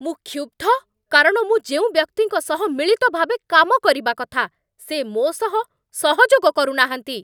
ମୁଁ କ୍ଷୁବ୍ଧ କାରଣ ମୁଁ ଯେଉଁ ବ୍ୟକ୍ତିଙ୍କ ସହ ମିଳିତ ଭାବେ କାମ କରିବା କଥା, ସେ ମୋ ସହ ସହଯୋଗ କରୁନାହାଁନ୍ତି।